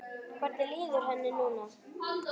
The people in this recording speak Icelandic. Hvernig líður henni núna?